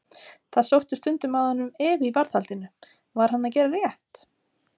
Það sótti stundum að honum efi í varðhaldinu: var hann að gera rétt?